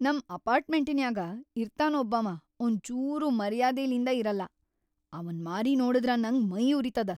ನಮ್ ಅಪಾರ್ಟ್ಮೆಂಟಿನ್ಯಾಗ ಇರ್ತಾನ ಒಬ್ಬಾವ ಒಂಚೂರೂ ಮರ್ಯಾದಿಲಿಂದ ಇರಲ್ಲಾ, ಅವನ್ ಮಾರಿ ನೋಡಿದ್ರ ನಂಗ್ ಮೈ ಉರಿತದ.